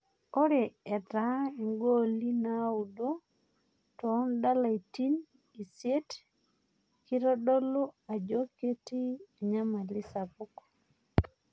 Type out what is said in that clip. Ore etaa igooli naudo too ndalaitin isiet kitodolu ajo ketii anyamali sapuk